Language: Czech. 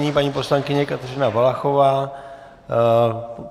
Nyní paní poslankyně Kateřina Valachová.